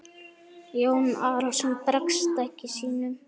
Jón Arason bregst ekki sínum.